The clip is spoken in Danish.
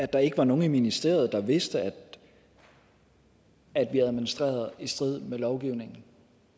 der ikke var nogen i ministeriet der vidste at vi administrerede i strid med lovgivningen